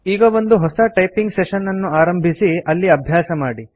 ಈಗ ಒಂದು ಹೊಸ ಟೈಪಿಂಗ್ ಸೆಶನ್ ಅನ್ನು ಆರಂಭಿಸಿ ಅಲ್ಲಿ ಅಭ್ಯಾಸ ಮಾಡಿ